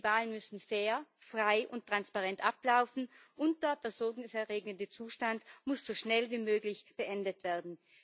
Die Wahlen müssen fair, frei und transparent ablaufen, und der besorgniserregende Zustand muss so schnell wie möglich beendet werden.